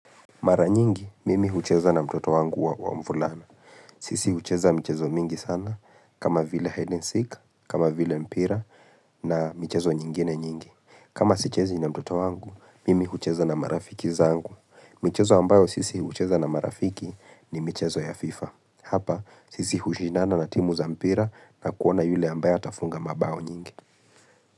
Mara nyingi, mimi hucheza na mtoto wangu wa mvulana. Sisi hucheza mchezo mingi sana, kama vile ''Hide and seek'', kama vile mpira na mchezo nyingine nyingi. Kama sichezi na mtoto wangu, mimi hucheza na marafiki zangu. Michezo ambayo sisi hucheza na marafiki, ni michezo ya ''FIFA''. Hapa, sisi hushindana na timu za mpira na kuona yule ambayo atafunga mabao nyingi.